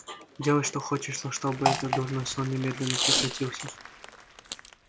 делай что хочешь но чтобы этот дурной сон немедленно прекратился